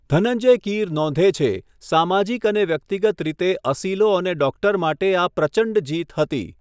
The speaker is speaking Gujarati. ધનંજય કીર નોંધે છે, 'સામાજીક અને વ્યક્તિગત રીતે અસીલો અને ડૉક્ટર માટે આ પ્રચંડ જીત હતી'.